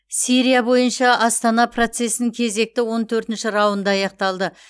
сирия бойынша астана процесінің кезекті он төртінші раунды аяқталды